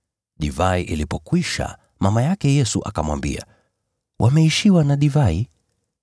Divai ilipokwisha, mama yake Yesu akamwambia, “Wameishiwa na divai.”